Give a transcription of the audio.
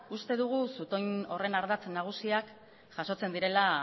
uste dugu zutoin horren ardatz nagusiak jasotzen direla